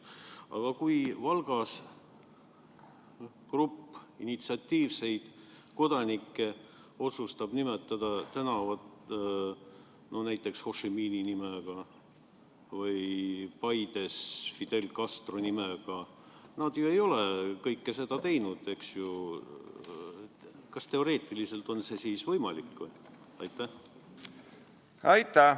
Aga kui Valgas grupp initsiatiivikaid kodanikke otsustab nimetada tänava näiteks Ho Chi Minhi nimega või Paides Fidel Castro nimega – nemad ju ei ole kõike seda teinud, eks ju –, siis kas teoreetiliselt on see võimalik?